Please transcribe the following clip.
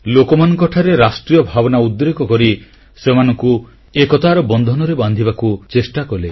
ଲୋକମାନଙ୍କଠାରେ ରାଷ୍ଟ୍ରୀୟ ଭାବନା ଉଦ୍ରେକ କରି ସେମାନଙ୍କୁ ଏକତାର ବନ୍ଧନରେ ବାନ୍ଧିବାକୁ ଚେଷ୍ଟାକଲେ